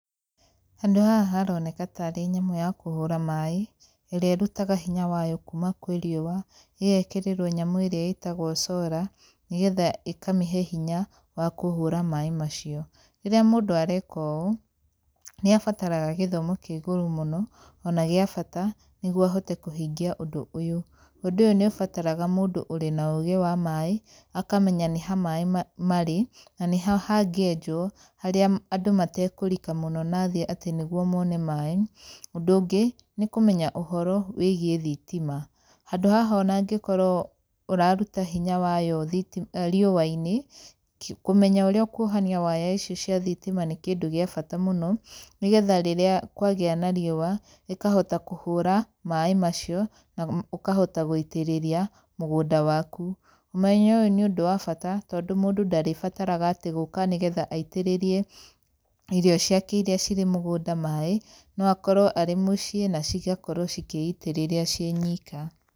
Handũ haha haroneka ta arĩ nyamũ ya kũhũra maĩ, ĩrĩa ĩrutaga hinya wayo kuuma kwĩ riũa, ĩgekĩrĩrwo nyamũ ĩrĩa ĩtagwo cora, nĩgetha ĩkamĩhe hinya wa kũhũra maĩ macio. Rĩrĩa mũndũ areka ũũ, nĩ abataraga gĩthomo kĩa igũrũ mũno, ona gĩa bata, nĩguo ũhote kũhingia ũndũ ũyũ. Ũndũ ũyũ nĩ ũbataraga mũndũ ũrĩ na ũũgĩ wa maĩ, akamenya nĩ ha maĩ marĩ, na nĩ ha hangĩenjwo harĩa andũ matekũrika mũno na thĩ, atĩ nĩguo mone maĩ. Ũndũ ũngĩ, nĩ kũmenya ũhoro wĩgiĩ thitima. Handũ haha ona angĩkorwo ũraruta hinya wayo thitima riũa-inĩ, kũmenya ũrĩa ũkuohania waya ici cia thitima nĩ kĩndũ gĩa bata mũno, nĩgetha rĩrĩa kwagĩa na riũa, ĩkahota kũhũra maĩ macio, na ũkahota gũitĩrĩria mũgũnda waku. Ũmenyo ũyũ nĩ ũndũ wa bata, tondũ mũndũ ndarĩbataraga gũka atĩ nĩgetha aitĩrĩrie irio ciake irĩa cirĩ mũgũnda maĩ, no akorwo arĩ mũciĩ na cigakorwo cikĩitĩrĩria ciĩ nyika.